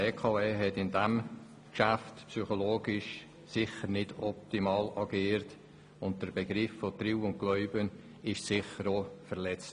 Die BKW hat in diesem Geschäft aus psychologischer Sicht sicher nicht optimal agiert, und das Prinzip von Treu und Glauben wurde sicher auch verletzt.